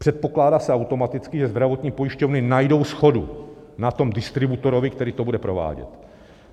Předpokládá se automaticky, že zdravotní pojišťovny najdou shodu na tom distributorovi, který to bude provádět.